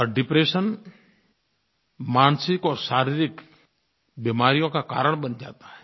और डिप्रेशन मानसिक और शारीरिक बीमारियों का कारण बन जाता है